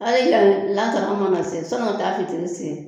Hali y'a, lansara mana se sɔnni ka taa fitiri sen.